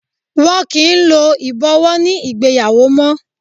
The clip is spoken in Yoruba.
Wọn kì í lo ibowo ní ìgbéyàwó mó.